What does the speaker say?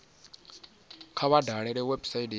kha vha dalele website ya